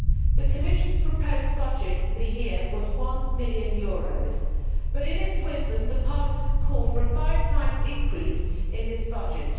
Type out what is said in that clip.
The Commission's proposed budget for the year was EUR 1 million but, in its wisdom, Parliament has called for a five times increase in this budget.